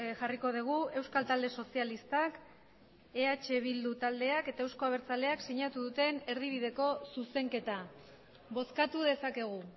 jarriko dugu euskal talde sozialistak eh bildu taldeak eta euzko abertzaleak sinatu duten erdibideko zuzenketa bozkatu dezakegu